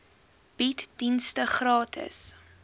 bied dienste gratis